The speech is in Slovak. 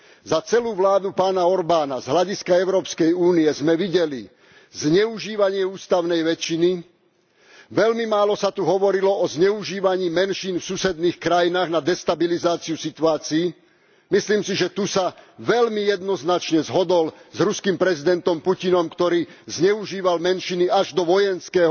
Za celú vládu pána Orbána z hľadiska Európskej únie sme videli zneužívanie ústavnej väčšiny, veľmi málo sa tu hovorilo o zneužívaní menšín v susedných krajinách na destabilizáciu situácií myslím si, že tu sa veľmi jednoznačne zhodol s ruským prezidentom Putinom, ktorý zneužíval menšiny až do vojenského